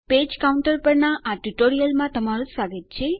page કાઉન્ટરના આ ટ્યુટોરીયલમાં તમારું સ્વાગત છે